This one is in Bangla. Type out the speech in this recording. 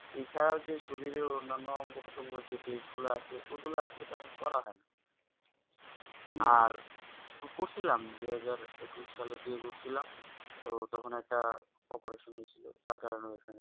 এছাড়া যে শরীরের অন্নান্য অঙ্গ পতঙ্গ যে Test গুলা আছে ওগুলো তো করা হয়না করছিলাম দুহাজার একুশ সালের দিকে করছিলাম তো তখন একটা operation হৈছিল তার কারণে ওইখানে